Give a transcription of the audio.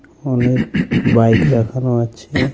অনেক বাইক দেখানো আছে.